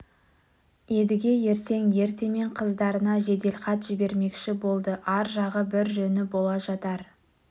едіге ертең ертемен қыздарына жеделхат жібермекші болды ар жағы бір жөні бола жатар